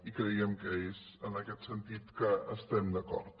i creiem que és en aquest sentit que estem d’acord